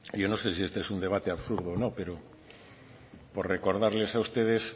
yo no sé si este es un debate absurdo o no pero por recordarles a ustedes